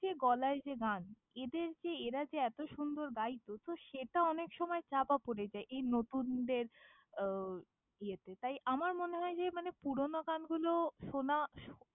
গলায় যে গান, এদেরকে এরা যে এতো সুন্দর গাইত তো সেটা অনেকসময় চাপা পড়ে যায়, এই নতুনদের আহ ইয়েতে, তাই আমার মনে হয় যে মানে পুরোনো গানগুলো শোনা শু~।